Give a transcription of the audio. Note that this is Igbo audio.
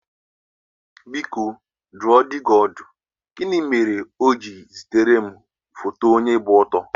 Biko dùọ dị ọdù, gịnị mere ọ̀ jiri zitere m foto onye gba ọtọ?